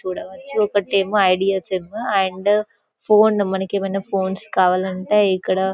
చూడవచ్చు ఒకటేమో idea SIM and phone మనకేమైనా ఫోన్స్ కావాలంటే ఇక్కడ--